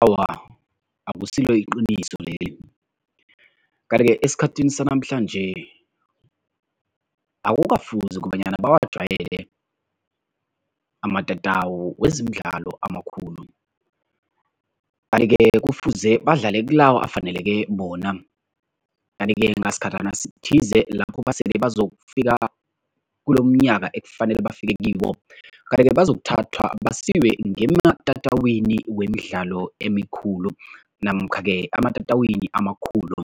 Awa, akusilo iqiniso leli. Kanti-ke esikhathini sanamhlanje akukafuzi kobanyana bawajwayele amatatawu wezemidlalo amakhulu. Kanti-ke kufuze badlale kilawo afaneleke bona kanti-ke ngesikhatjhana sithize lapho basele bazokufika kulomnyaka ekufanele bafike kiwo, kanti-ke bazokuthathwa basiwe ngematatawini wemidlalo amikhulu namkha-ke ematatawini amakhulu.